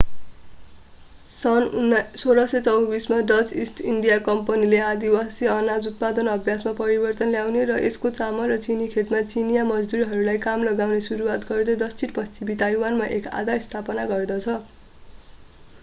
सन् 1624 मा Dutch East India कम्पनीले आदिवासी अनाज उत्पादन अभ्यासमा परिवर्तन ल्याउने र यसको चामल र चिनी खेतीमा चिनियाँ मजदुरहरूलाई काममा लगाउन सुरुवात गर्दै दक्षिण पश्चिमी ताइवानमा एक आधार स्थापना गर्दछ